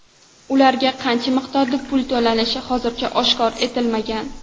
Ularga qancha miqdorda pul to‘lanishi hozircha oshkor etilmagan.